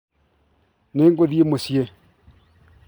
nĩ ngũthiĩ mũciĩ .